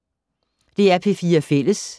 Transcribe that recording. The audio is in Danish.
DR P4 Fælles